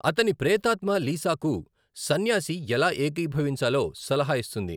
అతని ప్రేతాత్మ లీసాకు సన్యాసి ఎలా ఏకీభవించాలో సలహా ఇస్తుంది.